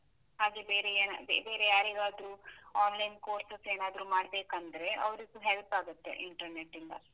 ಹಾಗೆ ಬೇರೆ ಏನಾದ್ರು ಬೇರೆ ಯಾರಿಗಾದ್ರೂ online courses ಏನಾದ್ರೂ ಮಾಡ್ಬೇಕಂದ್ರೆ, ಅವ್ರಿಗೂ help ಆಗುತ್ತೆ, internet ಇಂದ.